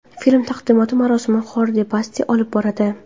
Film taqdimoti marosimini Xordi Baste olib boradi.